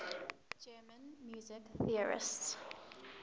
german music theorists